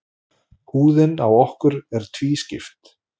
Húðin á okkur er tvískipt.